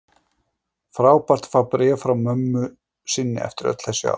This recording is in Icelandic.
Frábært að fá bréf frá mömmu sinni eftir öll þessi ár.